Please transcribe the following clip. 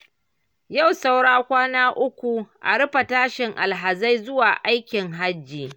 Yau sauran kwana uku a rufe tashin alhazai zuwa aikin hajji.